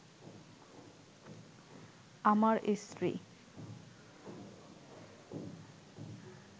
আমার স্ত্রী